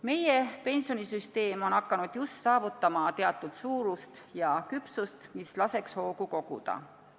Meie pensionisüsteem on just hakanud saavutama teatud suurust ja küpsust, mis võimaldaks hoogu koguda.